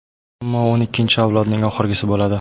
Ammo o‘n ikkinchi avloding oxirgisi bo‘ladi”.